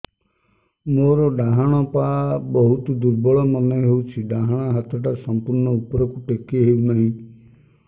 ମୋର ଡାହାଣ ପାଖ ବହୁତ ଦୁର୍ବଳ ମନେ ହେଉଛି ଡାହାଣ ହାତଟା ସମ୍ପୂର୍ଣ ଉପରକୁ ଟେକି ହେଉନାହିଁ